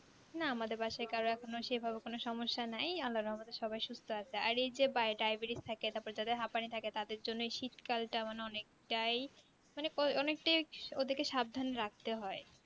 না আমাদের বাসায় কারো এখনো কোনো সেই ভাবে কোনো সমস্যা নেই আল্লার রহমতে সবাই সুস্থ আছে আর এই যে diabetes থাকে তারপর যাদের হাঁপানি থাকে তাদের জন্য শীত কালটা মানে অনেকটাই মানে অনেকটাই আরকি ওদেরকে সাবধানে রাখতে হয়